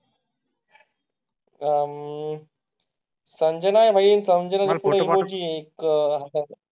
आह सांजना नाही कारण जर तुम्ही एक आहे.